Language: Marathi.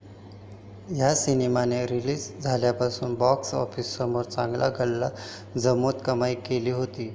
या सिनेमाने रिलीज झाल्यापासूनच बॉक्स ऑफिसवर चांगला गल्ला जमवत कमाई केली होती.